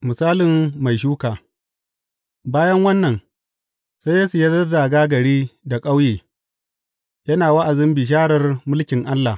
Misalin mai shuka Bayan wannan sai Yesu ya zazzaga gari da ƙauye, yana wa’azin bisharar mulkin Allah.